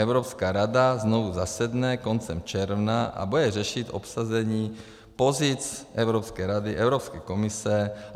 Evropská rada znovu zasedne koncem června a bude řešit obsazení pozic Evropské rady, Evropské komise.